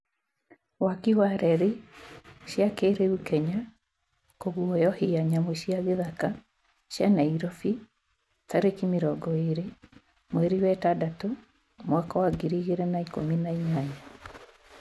waki wa reri cia kĩrĩu kenya kũguoyohia nyamũ cia gĩthaka cia Nairobi tarĩki mĩrongo ĩrĩ mweri wa itandatũ mwaka wa ngiri igĩrĩ na ikũmi na inyanya